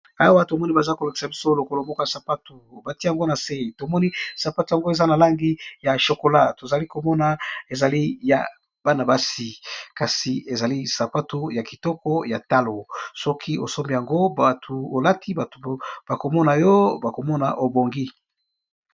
Awa bazo lakisa biso lokolo moko ya sapato batiye yango nase tomoni sapato ya ngo ezali ya Bana basi eza na langi ya chocolat kasi ezali sapato ya talo, soki olati yango bato bakomonayo obongi.